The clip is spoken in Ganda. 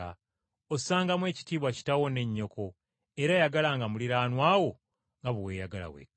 ossangamu ekitiibwa kitaawo ne nnyoko era yagalanga muliraanwa wo nga bwe weeyagala wekka.’ ”